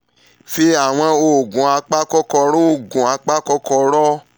fi àwọn oògùn apakòkòrò oògùn apakòkòrò